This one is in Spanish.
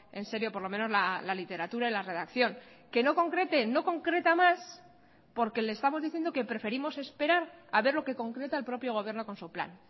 en serio por lo menos la literatura y la redacción que no concrete no concreta más porque le estamos diciendo que preferimos esperar a ver lo que concreta el propio gobierno con su plan